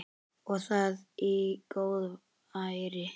Og það í góðæri!